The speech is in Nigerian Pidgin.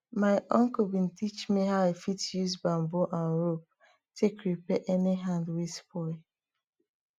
my uncle bin teach me how i fit use bamboo and rope take repair any hand wey spoil